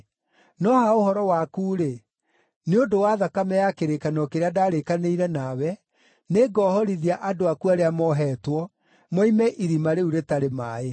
No ha ũhoro waku-rĩ, nĩ ũndũ wa thakame ya kĩrĩkanĩro kĩrĩa ndarĩkanĩire nawe, nĩngoohorithia andũ aku arĩa mohetwo, moime irima rĩu rĩtarĩ maaĩ.